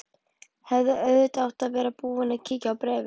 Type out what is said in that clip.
Hefði auðvitað átt að vera búin að kíkja á bréfið.